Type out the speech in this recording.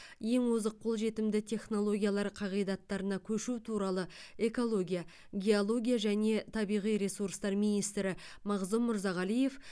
ең озық қолжетімді технологиялар қағидаттарына көшу туралы экология геология және табиғи ресурстар министрі мағзұм мырзағалиев